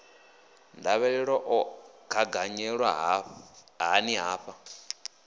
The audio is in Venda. ndavhelelo o gaganyelwa hani hafha